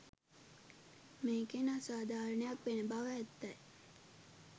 මේකෙන් අසාධාරණයක් වෙන බව ඇත්තයි.